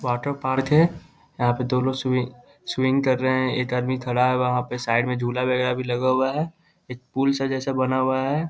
Water park है यहाँ पे दो लोग स्विम कर रहे हैं एक आदमी खड़ा है वहाँ पे साइड में झुला वगेरा भी लगा हुआ है एक पूल सा जैसा बना हुआ है ।